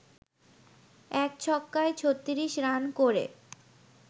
১ ছক্কায় ৩৬ রান করে